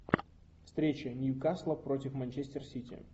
встреча ньюкасла против манчестер сити